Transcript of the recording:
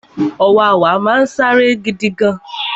Ọ̀wàwà náà sáré gidigan